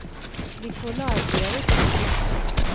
Nicolai Eriksen